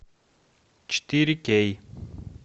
четыре кей